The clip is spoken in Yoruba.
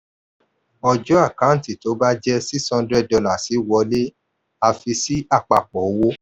ọjọ́ àkántì tó bá jẹ six hundred dollars wọlé a fi sí apapọ owó.